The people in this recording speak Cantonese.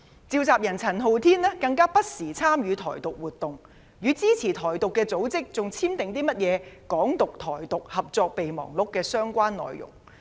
召集人陳浩天更不時參與"台獨"活動，與支持"台獨"組織討論簽訂"港獨"、"台獨"合作備忘錄的相關內容。